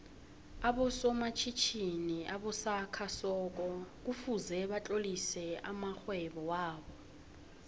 aboso matjhitjhini obasakha soko kufuze batlolise amoihwebo wobo